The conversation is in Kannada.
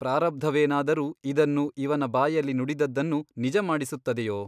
ಪ್ರಾರಬ್ಧವೇನಾದರೂ ಇದನ್ನು ಇವನ ಬಾಯಲ್ಲಿ ನುಡಿದದ್ದನ್ನು ನಿಜ ಮಾಡಿಸುತ್ತದೆಯೋ ?